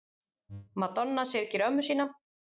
Madonna syrgir ömmu sína